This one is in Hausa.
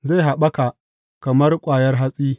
Zai haɓaka kamar ƙwayar hatsi.